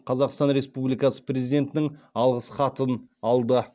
қазақстан республикасы президентінің алғыс хатын алды